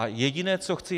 A jediné, co chci...